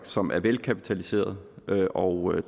som er velkapitaliseret og